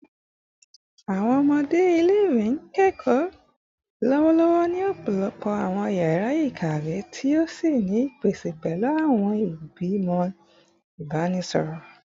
Awọn ọmọ ile-iwe n kọ ẹkọ lọwọlọwọ ni ọpọlọpọ awọn yara ikawe ti o ni ipese pẹlu awọn igbimọ ibanisọrọ